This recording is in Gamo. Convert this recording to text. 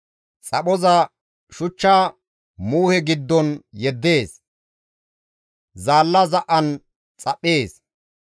Xaphoza shuchcha muuhe giddon yeddees; zaalla za7an xaphees.